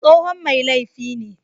Tsohon mai laifi ne